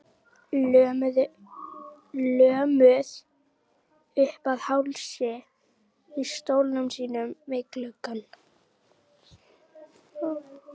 Lömuð uppað hálsi í stólnum þínum við gluggann.